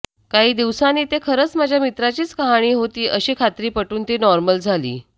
काही दिवसांनी ते खरंच माझ्या मित्राचीच कहानी होती अशी खात्री पटून ती नॉर्मल झाली